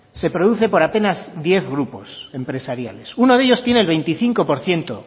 se produce por apenas diez grupos empresariales uno de ellos tiene el veinticinco por ciento